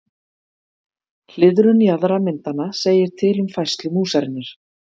Hliðrun jaðra myndanna segir til um færslu músarinnar.